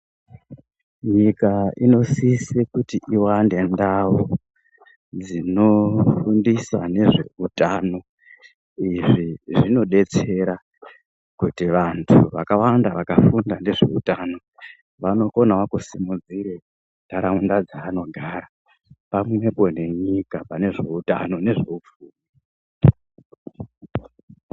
Nyika inosise kuti iwande ndau dzinofundisa ngezveutano, izvi zvino detsera kuti vanhu vakawanda vakafunda ngezveutano vanokonawo kusimudzira ndaraunda dzaanogara pamwepo nenyika pane zveutano nezveupfumi.